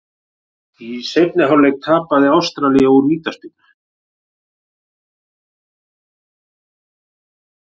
Í seinni hálfleik jafnaði Ástralía úr vítaspyrnu.